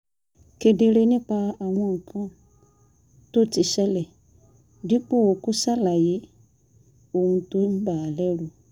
kedere nípa àwọn nǹkan tó ti ṣẹlẹ̀ dípò kó ṣàlàyé ohun tó ń bà á lẹ́rù